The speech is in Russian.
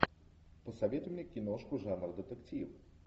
посоветуй мне киношку жанр детектив